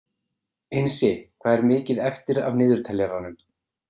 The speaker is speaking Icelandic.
Einsi, hvað er mikið eftir af niðurteljaranum?